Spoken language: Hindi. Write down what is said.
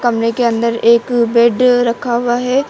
के अंदर एक बेड रखा हुआ है।